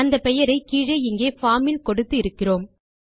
அந்த பெயரை கீழே இங்கே பார்ம் இல் கொடுத்து இருக்கிறோம்